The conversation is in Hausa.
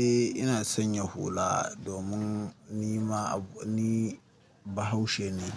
Eh ina san ya hula domin ni ma ni Bahaushe ne,